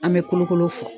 An bɛ kolokolo fɔ